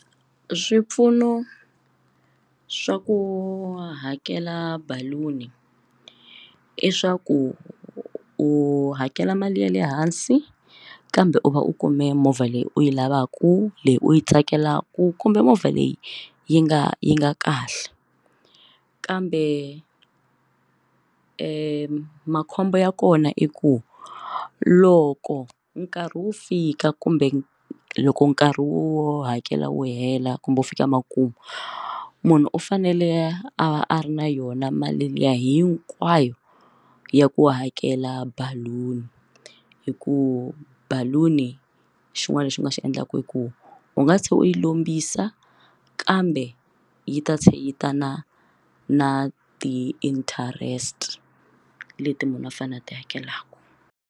Swipfuno swa ku hakela baluni i swa ku u hakela mali ya le hansi kambe u va u kume movha leyi u yi lavaka leyi u yi tsakelaku kumbe movha leyi yi nga yi nga kahle u kambe makhombo ya kona i ku loko nkarhi wu fika kumbe loko nkarhi wo hakela wu hela kumbe u fika makumu munhu u fanele a ri na yona mali liya hinkwayo a ya ku hakela baluni hikuva baluni xin'wana lexi u nga xi endlaka i ku u nga se u yi lombisa kambe yi ta cheleta na na ti-interest leti munhu a fanele a ti hakelaka.